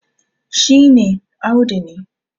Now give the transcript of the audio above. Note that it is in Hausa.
shi ne Audu ne